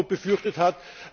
befürchtet hat?